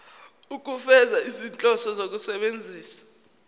ukufeza izinhloso zokusebenzisa